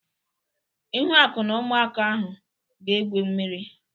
Ihuaku na ụmụaka ahụ ga-egwu mmiri.